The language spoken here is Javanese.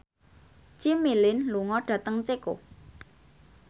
Jimmy Lin lunga dhateng Ceko